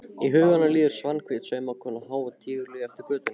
Í huganum líður Svanhvít saumakona há og tíguleg eftir götunni.